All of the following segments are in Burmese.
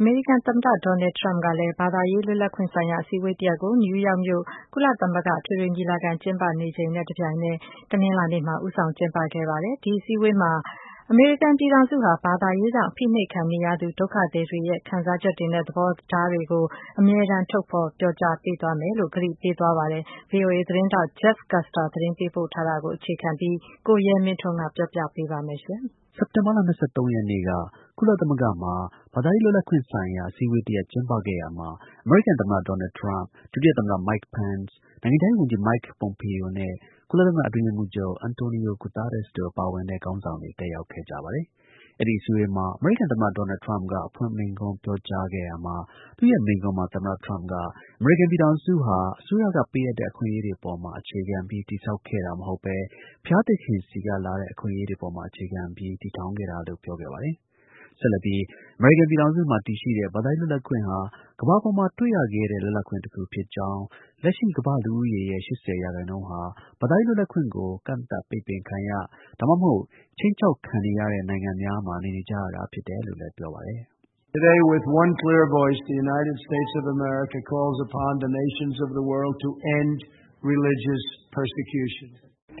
အမေရိကန် သမ္မတ ဒေါ်နယ်ထရမ့်က ဘာသာရေး လွတ်လပ်ခွင့်ဆိုင်ရာအစည်းအဝေးတစ်ရပ်ကို နယူးယောက်မြို့ ကုလသမဂ္ဂ အထွေထွေ ညီလာခံ ကျင်းပနေစဉ်အတွင်း တနင်္လာနေ့မှာ ဦးဆောင်ကျင်းပခဲ့ပါတယ်။ အဲဒီအစည်းအဝေးမှာ အမေရိကန်ပြည်ထောင်စုဟာ ဘာသာရေးကြောင့် အဖိနှိပ်ခံနေရသူ ဒုက္ခသည်တွေရဲ့ ခံစားချက်တွေနဲ့ သဘောထားတွေကို အမြဲတမ်း ထုတ်ဖော်ပြောကြားပေးသွားမယ်လို့ သူက ကတိပေးခဲ့ပါတယ်။ ဗွီအိုအေ သတင်းထောက် Jeff Custer သတင်းပေးပို့ထားတာကို အခြေခံပြီး ကိုရဲမင်းထွန်းက တင်ပြပေးပါမယ်။ စက်တင်ဘာလ ၂၃ ရက်နေ့က ကုလသမဂ္ဂမှာ ဘာသာရေး လွတ်လပ်ခွင့်ဆိုင်ရာ အစည်းအဝေး တစ်ရပ် ကျင်းပခဲ့ရာမှာ အမေရိကန် သမ္မတ ဒေါ်နယ်ထရမ့်၊ ဒုတိယ သမ္မတ Mike Pence ၊ နိုင်ငံခြားရေး ဝန်ကြီး Mike Pompeo နဲ့ ကုလသမဂ္ဂ အတွင်းရေးမှူးချုပ် Antonio Guterres တို့ ပါဝင်တဲ့ ခေါင်းဆောင်တွေ တက်ရောက်ခဲ့ပါတယ်။ အဲဒီ အစည်းအဝေးမှာ အမေရိကန်သမ္မတ ဒေါ်နယ်ထရမ့်က အဖွင့် မိန့်ခွန်းပြောကြား ခဲ့ရာမှာ အမေရိကန်ပြည်ထောင်စု ဟာ အစိုးရကပေးအပ်တဲ့ အခွင့်အရေးတွေပေါ်မှာ အခြေခံပြီး တည်ဆောက်ခဲ့တာ မဟုတ်ဘဲ ဘုရားသခင်ဆီကလာတဲ့ အခွင့်အရေးတွေ အပေါ်မှာ အခြေခံပြီး တည်ထောင်ခဲ့တာလို့ ပြောခဲ့ပါတယ်။ ဆက်လက်ပြီး အမေရိကန်ပြည်ထောင်စုမှာ တည်ရှိတဲ့ ဘာသာရေး လွတ်လပ်ခွင့်ဟာ ကမ္ဘာပေါ်မှာ တွေ့ရခဲတဲ့ လွတ်လပ်ခွင့် တစ်ခု ဖြစ်ကြောင်း၊ လက်ရှိ ကမ္ဘာ့ လူဦးရေရဲ့ ၈၀ ရာခိုင်နှုန်းဟာ ဘာသာရေး လွတ်လပ်ခွင့်ကို ကန့်သတ်၊ ပိတ်ပင်ခံရ ဒါမှမဟုတ် ခြိမ်းခြောက်ခံ နေရတဲ့ နိုင်ငံများ မှာ နေနေရကြတယ်လို့ ပြောပါတယ်။ “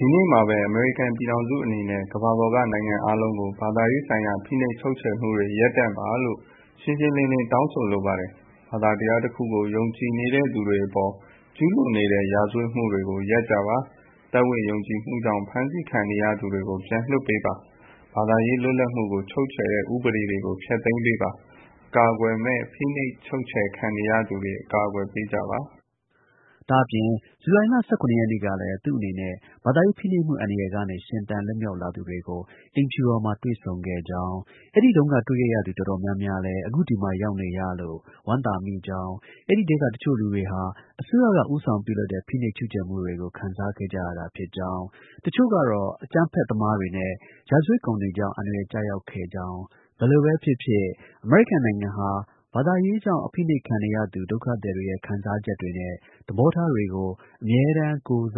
ဒီနေ့မှာပဲ အမေရိကန် ပြည်ထောင်စုအနေနဲ့ ကမ္ဘာပေါ်က နိုင်ငံအားလုံးကို ဘာသာရေးဆိုင်ရာ ဖိနှိပ် ချုပ်ချယ်မှုတွေ ရပ်တန့်ပါလို့ ရှှုင်းရှင်း လင်းလင်း တောင်းဆိုလိုပါတယ်။ ဘာသာတရားတစ်ခုကို ယုံကြည်နေတဲ့သူတွေအပေါ် ကျူးလွန်နေတဲ့ ရာဇဝတ်မှုတွေကို ရပ်ကြပါ။ ယုံကြည်မှုကြောင့် ဖမ်းဆီးခံရနေသူတွေကို ပြန်လွှတ်ပေးပါ။ ဘာသာရေး လွတ်လပ်မှုကို ချုပ်ချယ်တဲ့ ဥပဒေတွေကို ဖျက်သိမ်းပေးပါ။ အကာအကွယ်မဲ့ ဖိနှိုပ်ချုပ်ချယ်ခံနေရသူတွေကို အကာအကွယ်ပေးကြပါ။” ဒါ့အပြင် ဇူလိုင်လ ၁၇ ရက်နေ့ကလည်း သူ့အနေနဲ့ ဘာသာရေး ဖိနှိပ်မှုအန္တရာယ်ကနေ ရှင်သန်လွတ်မြောက်လာသူတွေကို အိမ်ဖြူတော်မှာ တွေ့ဆုံခဲ့ကြောင်း၊ အဲဒီတုန်းက တွေ့ခဲ့ရသူ တော်တော်များများလည်း အခု ဒီမှာရောက်ရှိနေလို့ ဝမ်းသာမိကြောင်း၊ အဲဒီထဲက တစ်ချို့ လူတွေဟာ အစိုးရက ဦးဆောင်ပြုလုပ်တဲ့ ဖိနှိပ် ချုပ်ချယ်မှုတွေကို ခံစားခဲ့ကြရတာဖြစ်ကြောင်း၊ တစ်ချို့ကတော့ အကြမ်းဖက်သမားတွေနဲ့ ရာဇဝတ်ကောင်တွေကြောင့် အန္တရာယ်ကျရောက် ခဲ့ကြောင်း၊ ဘယ်လိုပဲ ဖြစ်ဖြစ် အမေရိကန်နိုင်ငံဟာ ဘာသာရေးကြောင့် အဖိနှိပ်ခံနေရသူ ဒုက္ခသည်တွေရဲ့ ခံစားချက်တွေနဲ့ သဘောထား တွေကို အမြဲတမ်း ထုတ်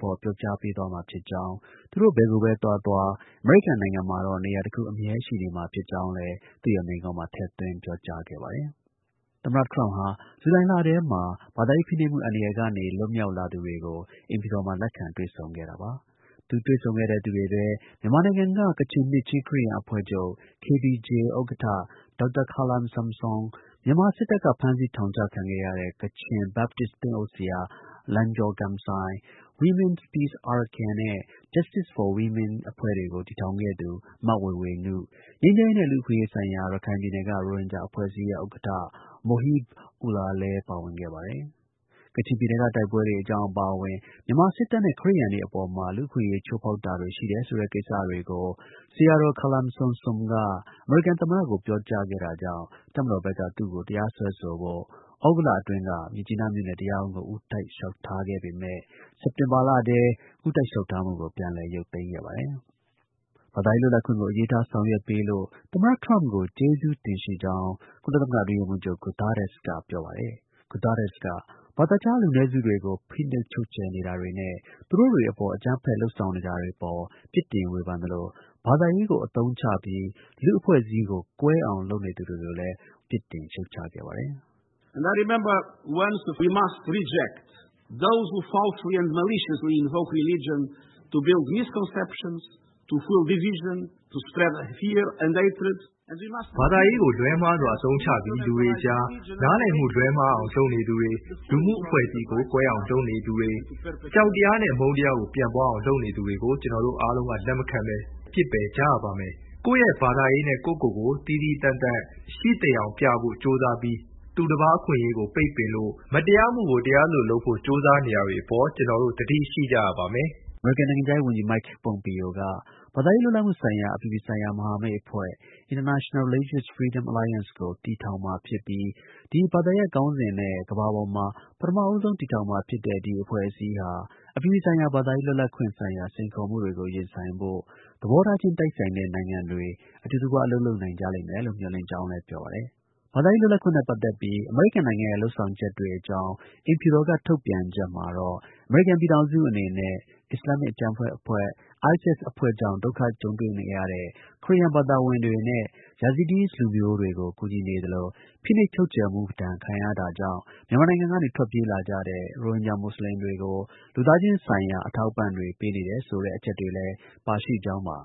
ဖော်ပြောကြားပေးသွားမှာဖြစ်ကြောင်း၊ သူတို့ ဘယ်ကိုပဲ သွားသွား အမေရိကန်နိုင်ငံမှာတာ့ နေရာတစ်ခု အမြဲရှိနေမှာဖြစ်ကြောင်းလည်း သူ့ရဲ့ မိန့်ခွန်းမှာ ထည့်သွင်း ပြောသွားခဲ့ပါတယ်။ သမ္မတ ထရမ့်က ဇူလိုင်လထဲမှာ ဘာသာရေး ဖိနှိပ်မှုအန္တရာယ်ကနေ လွတ်မြောက်လာသူတွေကို အိမ်ဖြူတော်မှာ လက်ခံ တွေ့ဆုံ တာပါ။သူတွေ့ဆုံတဲ့ သူတွေထဲ မြန်မာနိုင်ငံက ကချင်နှစ်ခြင်း ခရစ်ယာန်အဖွဲ့ချုပ် KBC ဥက္ကဋ္ဌ ဒေါက်တာခါလမ်ဆမ်ဆွန်၊ မြန်မာစစ်တပ်က ဖမ်းဆီး ထောင်ချခဲ့တဲ့ ကချင် Baptist သင်းအုပ်ဆရာ လန်ဂျော်ဂမ်ဆိုင်၊ Women’s Peace Arakan နဲ့ Justice for Women အဖွဲ့တွေကို တည်ထောင်ခဲ့သူ မဝေေ၀နု၊ ငြိမ်းချမ်းရေးနဲ့ လူ့အခွင့်အရေးဆိုင်ရာ ရခိုင်ပြည်နယ်က ရိုဟင်ဂျာအဖွဲ့အစည်းရဲ့ ဥက္ကဌ Mohib Ullah လည်း ပါဝင်ခဲ့ပါတယ်။ ကချင်ပြည်နယ်ကတိုက်ပွဲတွေအကြောင်း အပါအဝင် မြန်မာစစ်တပ်အနေနဲ့ ခရစ်ယာန်တွေအပေါ်မှာ လူ့အခွင့်အရေး ချိုးဖောက်တာတွေ ရှိနေတယ်ဆိုတဲ့ ကိစ္စတွေကို ဆရာတော် ခါလမ်ဆမ်ဆွန်က အမေရိကန်သမ္မတကို ပြောကြားခဲ့တာကြောင့် တပ်မတော်ဘက်က သူ့ကို တရားစွဲဆိုဖို့ သြဂုတ်လအတွင်းက မြစ်ကြီးနား မြို့နယ်တရားရုံးကို ဦးတိုက် လျှောက်ထားခဲ့ပေမဲ့ စက်တင်ဘာလထဲ ဦးတိုက်လျှောက်ထားမှုကို ပြန်လည် ရုပ်သိမ်းခဲ့ပါတယ်။ ဘာသာရေး လွတ်လပ်ခွင့်ကို အလေးထား ဆောင်ရွက်ပေးလို့ သမ္မတ ထရမ့်ကို ကျေးဇူးတင်ရှိ ကြောင်း ကုလသမဂ္ဂ အတွင်းရေးမှူးချုပ် Guterres က ပြောပါတယ်။ Guterres က ဘာသာခြား လူနည်းစုတွေကို ဖိနှိပ်ချုပ်ချယ်နေတာတွေနဲ့ သူတို့တစ်တွေ အပေါ် အကြမ်းဖက် လုပ်ဆောင်တာတွေ အပေါ် ပြစ်တင် ဝေဖန်သလို ဘာသာရေးကို အသုံးချပြီး လူ့အဖွဲ့အစည်းကို ကွဲအောင် လုပ်နေသူတွေကိုလည်း ပြစ်တင်ခဲ့ ပါတယ်။ “ဘာသာရေးကို လွဲမှားစွာ အသုံးချပြီး လူတွေအကြား နားလည်မှု လွဲမှားအောင်လုပ်နေသူတွေ၊ လူမှုအဖွဲ့အစည်းကို ကွဲအောင် လုပ်နေသူတွေ၊ အကြောက်တရားနဲ့ အမုန်းတရားကို ပြန့်ပွားအောင် လုပ်နေသူတွေကို ကျွန်တော်တို့အားလုံးက လက်မခံဘဲ ပစ်ပယ်ကြရပါမယ်။ ကိုယ့်ရဲ့ ဘာသာရေးနဲ့ ကိုယ့်ကိုယ်ကို သီးသီးသန့်သန့် ရှိသယောင် ပြဖို့ ကြိုးစားပြီး သူတစ်ပါး အခွင့်အရေးတွေကို ပိတ်ပင်လို့ မတရားမှုကို တရား သလို လုပ်ဖို့ ကြိုးစားနေတာတွေအပေါ် ကျွန်တော်တို့ သတိရှိကြရပါမယ်။” အမေရိကန်နိုင်ငံခြားရေး ဝန်ကြီး Mike Pompeo က ဘာသာရေးလွတ်လပ်မှုဆိုင်ရာ အပြည်ပြည်ဆိုင်ရာ မဟာမိတ်အဖွဲ့ International Religious Freedom Alliance အဖွဲ့ကို တည်ထောင်မှာဖြစ်ပြီး ဒီ ဘာသာရပ်ခေါင်းစဉ်နဲ့ ကမ္ဘာပေါ်မှာ ပထမဦးဆုံး တည်ထောင်မှာဖြစ်တဲ့ အဖွဲ့အစည်းဟာ အပြည်ပြည်ဆိုင်ရာ ဘာသာရေး လွတ်လပ်ခွင့်ဆိုင်ရာ စိန်ခေါ်မှုတွေကို ရင်ဆိုင်ဖို့ သဘောထားချင်း တိုက်ဆိုင်တဲ့နိုင်ငံတွေ အတူတကွ အလုပ်လုပ် နိုင်ကြလိမ့်မယ်လို့ မျှော်လင့်ကြောင်း လည်း ပြောပါတယ်။ ဘာသာရေးလွတ်လပ်ခွင့်နဲ့ ပတ်သက်ပြီး အမေရိကန်နိုင်ငံရဲ့ လုပ်ဆောင်ချက်တွေအကြောင်း အိမ်ဖြူတော်က ထုတ်ပြန်ချက် မှာတော့ အမေရိကန် ပြည်ထောင်စုအနေနဲ့ ISIS အဖွဲ့ကြောင့် ဒုက္ခ ကြုံတွေ့ခဲ့ရတဲ့ ခရစ်ယာန်ဘာသာဝင်တွေနဲ့ Yazidis လူမျိုးတွေကို ကူညီနေသလို ဖိနှိပ်ချုပ်ချယ်ခံရမှုဒဏ်ကြောင့် မြန်မာနို်င်ငံကနေ ထွက်ပြေးကြရတဲ့ ရိုဟင်ဂျာ မူဆလင်တွေကို လူသားချင်းဆိုင်ရာ အထောက်အပံ့တွေ ပေးနေတယ်ဆိုတဲ့ အချက်တွေလည်း ပါရှိခဲ့ကြောင်းပါ